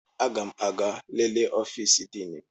Aga m aga lelee ọfịs Diini m.